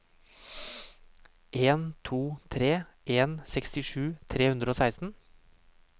en to tre en sekstisju tre hundre og seksten